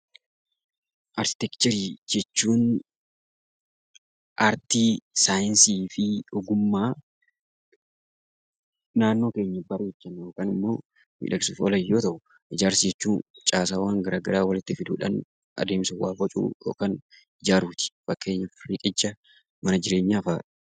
Arkiteekcharii jechuun artii saayiinsii fi ogummaa naannoo keenya bareechuuf yookaan miidagsuuf oolan yoo ta'u; Ijaarsa jechuun caasaawwan gara garaa walitti fiduudhaan adeemsa waa bocuu yookaan ijaaruu ti. Fakkeenyaaf riqicha, mana jireenyaa da'a.